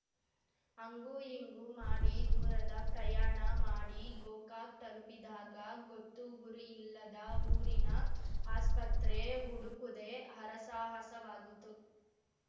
ಹಂಗು ಹಿಂಗು ಮಾಡಿ ದೂರದ ಪ್ರಯಾಣ ಮಾಡಿ ಗೋಕಾಕ್ ತಲುಪಿದಾಗ ಗೊತ್ತು ಗುರಿಯಿಲ್ಲದ ಊರಿನ ಆಸ್ಪತ್ರೆ ಹುಡುಕುದೇ ಹರಸಾಹಸವಾಗಿತ್ತು